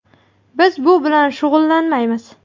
Biz bu bilan shug‘ullanmaymiz.